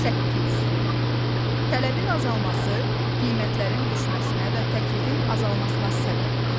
Səkkiz: Tələbin azalması qiymətlərin düşməsinə və təklifin azalmasına səbəb olur.